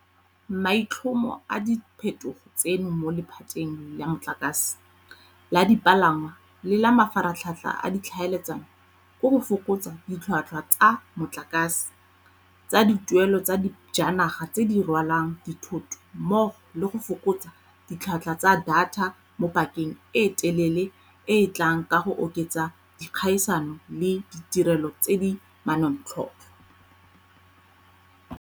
Maitlhomo a diphetogo tseno mo lephateng la motlakase, la dipalangwa le la mafaratlhatlha a ditlhaeletsano ke go fokotsa ditlhotlhwa tsa motlakase, tsa dituelelo tsa dijanaga tse di rwalang dithoto mmogo le go fokotsa ditlhotlhwa tsa data mo pakeng e telele e e tlang ka go oketsa dikgaisano le ditirelo tse di manontlhotlho.